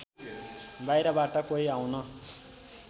बाहिरबाट कोही आउन